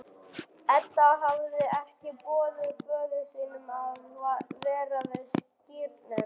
Edda hafði ekki boðið föður sínum að vera við skírnina.